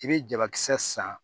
I bɛ jabakisɛ san